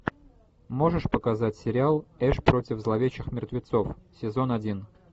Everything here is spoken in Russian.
можешь показать сериал эш против зловещих мертвецов сезон один